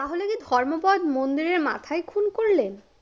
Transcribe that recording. ধর্মপদ মন্দিরের মাথায় খুন করলেন?